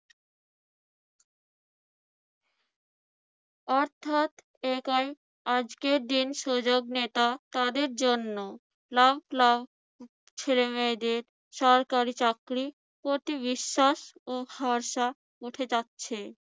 অর্থাৎ একাই আজকের দিন সুযোগ নেতা তাদের জন্য। লাখ লাখ ছেলেমেয়েদের সরকারি চাকরির প্রতি বিশ্বাস ও ভরসা উঠে যাচ্ছে।